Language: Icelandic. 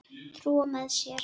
Trúa með sér.